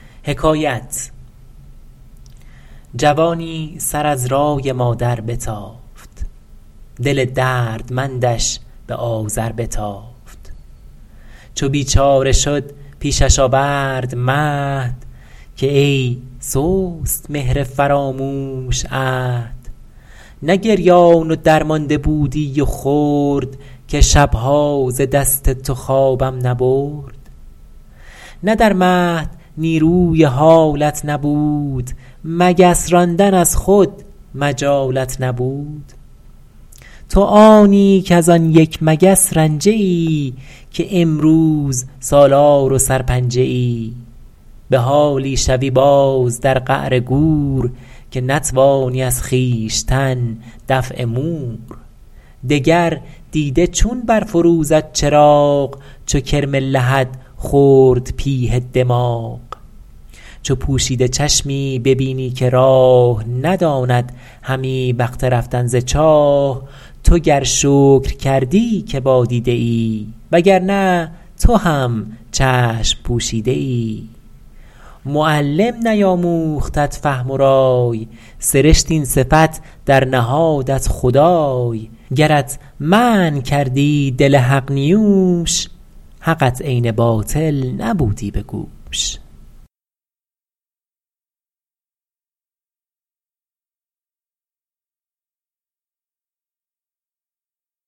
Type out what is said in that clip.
جوانی سر از رای مادر بتافت دل دردمندش به آذر بتافت چو بیچاره شد پیشش آورد مهد که ای سست مهر فراموش عهد نه گریان و درمانده بودی و خرد که شبها ز دست تو خوابم نبرد نه در مهد نیروی حالت نبود مگس راندن از خود مجالت نبود تو آنی کز آن یک مگس رنجه ای که امروز سالار و سرپنجه ای به حالی شوی باز در قعر گور که نتوانی از خویشتن دفع مور دگر دیده چون برفروزد چراغ چو کرم لحد خورد پیه دماغ چو پوشیده چشمی ببینی که راه نداند همی وقت رفتن ز چاه تو گر شکر کردی که با دیده ای وگر نه تو هم چشم پوشیده ای معلم نیاموختت فهم و رای سرشت این صفت در نهادت خدای گرت منع کردی دل حق نیوش حقت عین باطل نبودی به گوش